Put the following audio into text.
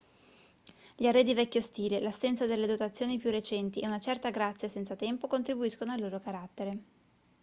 gli arredi vecchio stile l'assenza delle dotazioni più recenti e una certa grazia senza tempo contribuiscono al loro carattere